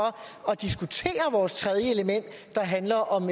at diskutere vores tredje element der handler om